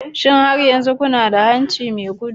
Shin har yanzu kuna da hanci mai gudu?